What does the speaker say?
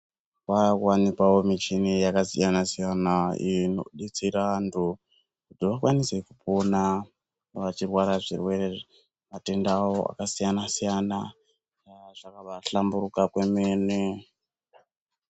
Kwakuwanikwawo michini yakasiyana siyana iyo inodetserana antu kuti vakwanise kupona vachirwara zvirwere matenda awo akasiyana siyana eya zvakabahlamburuka kwemene.